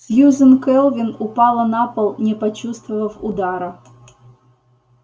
сьюзен кэлвин упала на пол не почувствовав удара